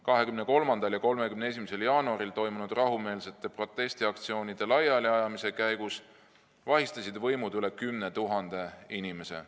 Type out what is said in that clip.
23. ja 31. jaanuaril toimunud rahumeelsete protestiaktsioonide laiali ajamise käigus vahistasid võimud üle 10 000 inimese.